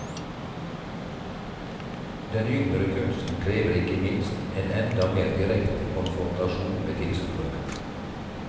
Den yngre kunsten krever ikke minst en enda mer direkte konfrontasjon med tilskueren.